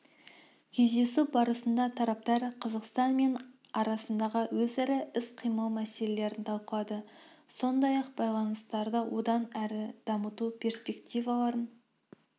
кездесу барысында тараптар қазақстан мен арасындағы өзара іс-қимыл мәселелерін талқылады сондай-ақ байланыстарды одан әрі дамыту перспективаларын